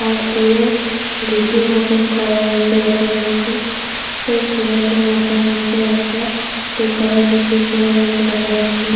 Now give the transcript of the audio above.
আর দূরে ঢিপির মতন করা রয়েছে দেখা যাচ্ছে। এই ছেলেটার মাথার মধ্যে একটা ব্লু কালার -এর টুপি পরে রয়েছে দেখা যাচ্ছে।